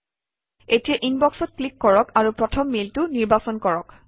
এতিয়া ইনবক্সত ক্লিক কৰক আৰু প্ৰথম মেইলটো নিৰ্বাচন কৰক